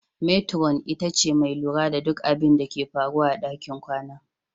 Metiron ita ce mai lura da duk abinda ke faruwa a ɗakin kwana.